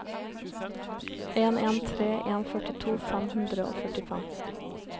en en tre en førtito fem hundre og førtifem